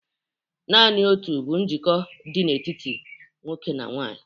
Naanị otu bụ njikọ dị n'etiti nwoke na nwanyị